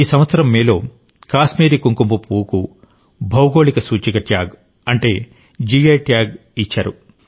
ఈ సంవత్సరం మేలో కాశ్మీరీ కుంకుమపువ్వుకు భౌగోళిక సూచిక ట్యాగ్ అంటే జీ ఐ ట్యాగ్ ఇచ్చారు